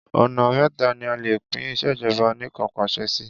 Ọ̀nà méta ni a lè pín ìṣèjọba anìkanpàṣẹ sí.